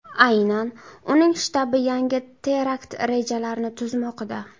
Aynan uning shtabi yangi terakt rejalarini tuzmoqda.